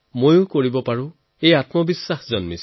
মইও পাৰিম এনে আত্মবিশ্বাস জাগিব